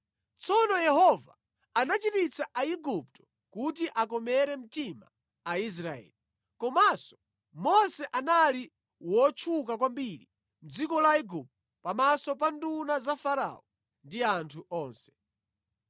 Tsono Yehova anachititsa Aigupto kuti akomere mtima Aisraeli. Komanso Mose anali wotchuka kwambiri mʼdziko la Igupto, pamaso pa nduna za Farao ndi anthu onse.